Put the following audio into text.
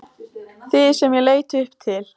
Þig sem ég leit upp til.